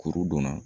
Kuru donna